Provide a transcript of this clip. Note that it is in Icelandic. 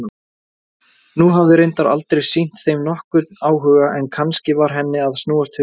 Hún hafði reyndar aldrei sýnt þeim nokkurn áhuga, en kannski var henni að snúast hugur?